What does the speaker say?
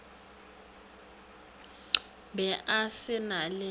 be a se na le